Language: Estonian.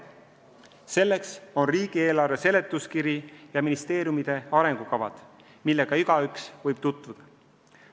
Selleks on riigieelarve seletuskiri ja ministeeriumide arengukavad, millega igaüks võib tutvuda.